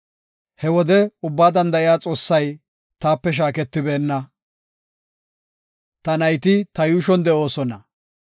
He wode Ubbaa Danda7iya Xoossay taape shaaketibeenna; ta nayti ta yuushon de7oosona.